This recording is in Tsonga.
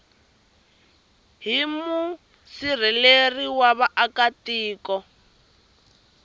hi musirheleli wa vaaka tiko